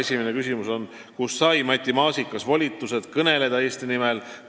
Esimene küsimus: "Kust sai Matti Maasikas volitused kõneleda Eesti nimel?